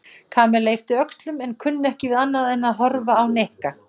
Kamilla yppti öxlum en kunni ekki við annað en að horfa á Nikka.